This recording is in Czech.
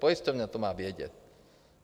Pojišťovna to má vědět.